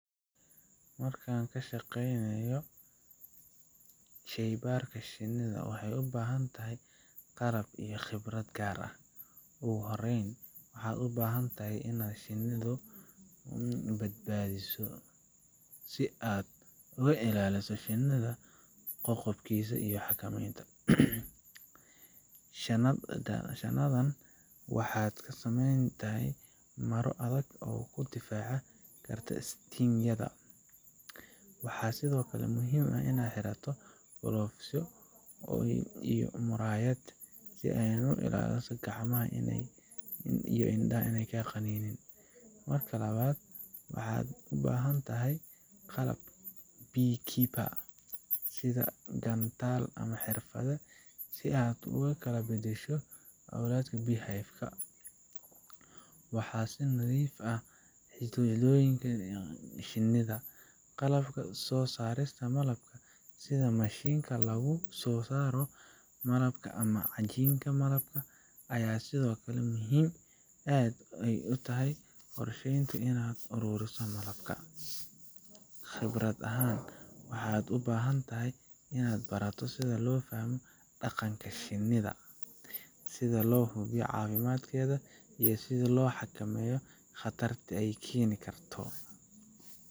Markaan ka shaqeynayo sheey baarka shinida, waxeey ubahan tahay qalab iyo khibrad gaar ah, ugu horeen waxaad ubahan tahay inaad shinidu badbaadiso si aad uga ilaaliso shinida qoqobkiisa iyo xakameenta, shinida waxeey ka sameyn karta mara adag oo kaa difaaci karta qaninka, waxaa sido kale muhiim ah inaad xirato, gloves ya iyo muraayad si aad u ilaaliso gacmaha iyo inadaha ineey kaa qaninin, marka labaad waxaad ubahan tahay qalab bee keeper ,sida gantaal ama xirfad si aad ugu kala badasho owlaadka bee hive ,qalabka soo saarista malabka sida mashinka lagu soo saaro cajinka malabka ayaa sido kale aad muhiim utahay, qorsheenta inaad aruuriso malabka, khibrad ahaan waxaad ubahan tahay inaad barato sida loo fahmo daqanka shinida, sida loo hubiyo caawimadkeeda iyo sida loo xakameeyo qatarta aay keeni karto.